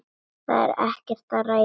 Það er ekkert að ræða.